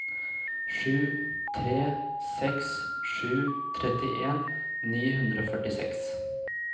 sju tre seks sju trettien ni hundre og førtiseks